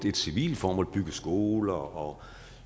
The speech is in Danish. et civilt formål bygge skoler og